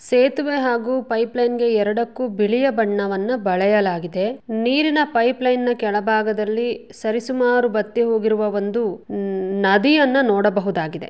ಸೇತುವೆ ಹಾಗೂ pipeline ಗೆ ಎರಡಕ್ಕೂ ಬಿಳಿಯ ಬಣ್ಣವನ್ನು ಬಳೆಯಲಾಗಿದೆ. ನೀರಿನ ಪೈಪ್ ಲೈನ್ ನ ಕೆಳಭಾಗದಲ್ಲಿ ಸರಿಸುಮಾರು ಬತ್ತಿ ಹೋಗಿರುವ ಒಂದು ನದಿಯನ್ನ ನೋಡಬಹುದಾಗಿದೆ .